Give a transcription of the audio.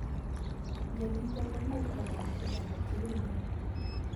Myonitok komuch konam chi age tugul neo